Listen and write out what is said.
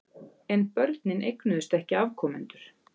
En börnin eignuðust ekki afkomendur.